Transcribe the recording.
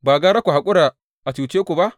Ba gara ku haƙura a cuce ku ba?